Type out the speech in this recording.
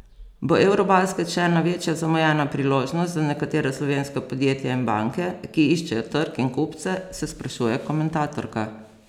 Bo eurobasket še ena večja zamujena priložnost za nekatera slovenska podjetja in banke, ki iščejo trg in kupce, se sprašuje komentatorka.